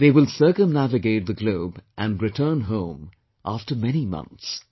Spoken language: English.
They will circumnavigate the globe and return home, after many months